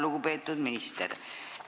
Lugupeetud minister!